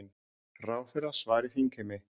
Ráðherra svari þingheimi